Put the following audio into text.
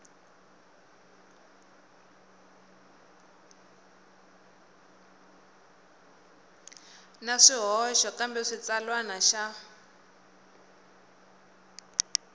na swihoxo kambe xitsalwana xa